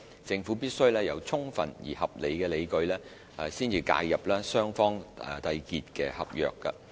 政府必須有充分而合理的理據，才介入雙方締結的合約。